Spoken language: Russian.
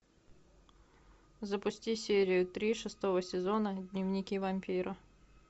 запусти серию три шестого сезона дневники вампира